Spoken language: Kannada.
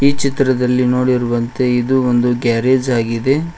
ಈ ಚಿತ್ರದಲ್ಲಿ ನೋಡಿರುವಂತೆ ಇದು ಒಂದು ಗ್ಯಾರೇಜ್ ಆಗಿದೆ.